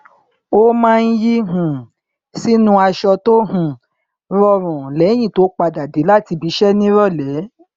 ó maá n yí um sínú aṣọ tó um rọrùn lẹyìn tó padà dé láti ibi iṣẹ ní ìrọlẹ